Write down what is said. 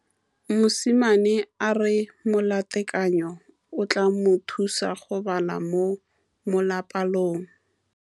Mosimane a re molatekanyô o tla mo thusa go bala mo molapalong.